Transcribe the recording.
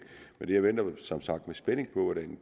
men jeg venter som sagt i spænding på hvordan